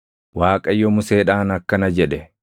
Waaqayyo Museedhaan akkana jedhe;